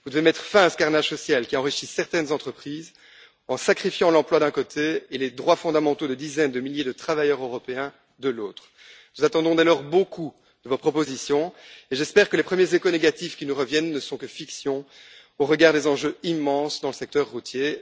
Vous devez mettre fin à ce carnage social qui a enrichi certaines entreprises en sacrifiant l'emploi, d'une part, et les droits fondamentaux de dizaines de milliers de travailleurs européens, d'autre part. Dès lors, nous attendons beaucoup de vos propositions et j'espère que les premiers échos négatifs qui nous reviennent ne sont que fiction au regard des enjeux immenses dans le secteur routier.